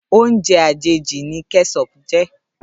Óoùnjè àjéjí ni kèṣòp jè